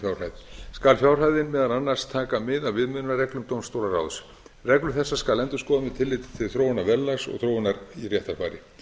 fjárhæð skal fjárhæðin meðal annars taka mið af viðmiðunarreglum dómstólaráðs reglur þessar skal endurskoða með tilliti til þróunar verðlags og þróunar í réttarfari